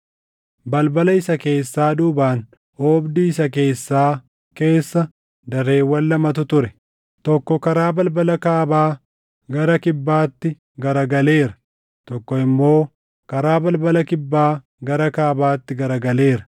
Balbala isa keessaa duubaan oobdii isa keessaa keessa dareewwan lamatu ture; tokko karaa balbala kaabaa gara kibbaatti garagaleera; tokko immoo karaa balbala kibbaa gara kaabaatti garagaleera.